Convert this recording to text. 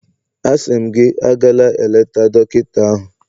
Asị m gị, agala eleta dọkịta ahụ